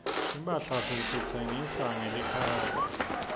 timphahla sititsenga ngelikhadi